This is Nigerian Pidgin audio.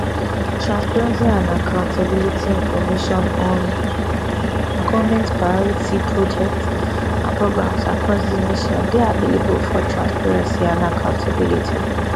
transparency and accountabilityinformation on goment priority projects and programs across di nation dey available for transparency and accountability